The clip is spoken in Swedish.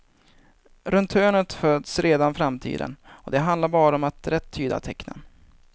Runt hörnet föds redan framtiden och det handlar bara om att rätt tyda tecknen.